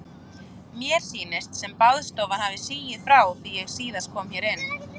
Mér sýnist sem baðstofan hafi sigið frá því síðast ég kom hér inn.